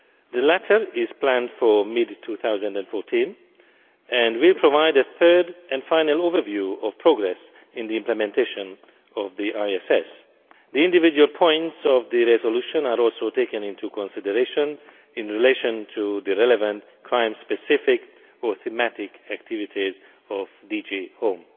The latter is planned for mid 2014 and will provide a third and final overview of progress in the implementation of the ISS. The individual points of the resolution are also taken into consideration in relation to the relevant crime specific or thematic activities of the Commission's DG Home.